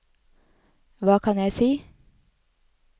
hva kan jeg si